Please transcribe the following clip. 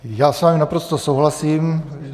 Já s vámi naprosto souhlasím.